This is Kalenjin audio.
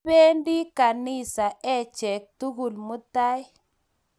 Kipendi ganisa achek tugul mutai.